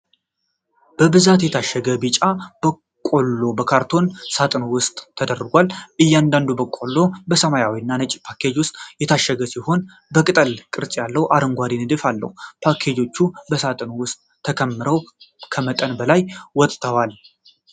በብዛት የታሸገ ቢጫ በቆሎ በካርቶን ሳጥን ውስጥ ተደርድሯል። እያንዳንዱ በቆሎ በሰማያዊ እና ነጭ ፓኬጅ ውስጥ የታሸገ ሲሆን፣ የቅጠል ቅርጽ ያለው አረንጓዴ ንድፍ አለው። ፓኬጆቹ በሳጥኑ ውስጥ ተከምረው ከመጠን በላይ ወጥተዋል።